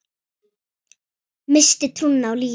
Missti trúna á lífið.